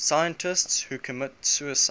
scientists who committed suicide